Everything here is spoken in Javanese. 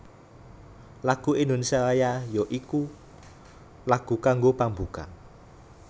Lagu Indonésia Raya ya iku lagu kanggo pambuka